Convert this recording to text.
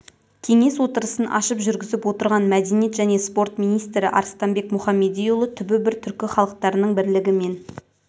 кеңес отырысын ашып жүргізіп отырған мәдениет және спорт министрі арыстанбек мұхамедиұлы түбі бір түркі халықтарының бірлігі мен